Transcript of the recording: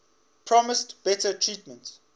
promised better treatment